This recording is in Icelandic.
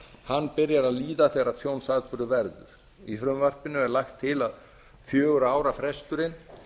hann beri að líða þegar tjónsatburður verður í frumvarpinu er lagt til að fjögurra ára fresturinn